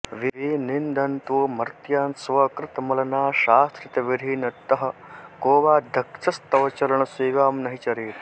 विनिन्दन्तो मर्त्यान् स्वकृतमलनाशाश्रितविधी नऽतः को वा दक्षस्तवचरण सेवां न हि चरेत्